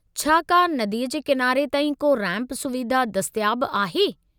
छा क्या नदी जे किनारे ताईं को रैंपु सुविधा दस्तियाबु आहे?